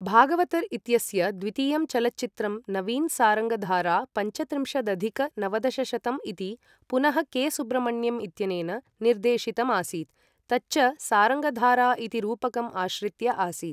भागवतर् इत्यस्य द्वितीयं चलच्चित्रं नवीन सारङ्गधारा पञ्चत्रिंशदधिक नवदशशतं इति पुनः के.सुब्रमण्यम् इत्यनेन निर्देशितम् आसीत्, तच्च सारङ्गधारा इति रूपकम् आश्रित्य आसीत्।